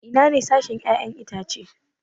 Ina sashen 'ya'yan itace?